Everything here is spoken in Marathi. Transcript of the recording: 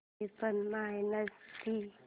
त्रेपन्न मायनस थ्री